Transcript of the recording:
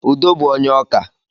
Udo bú onye ọkà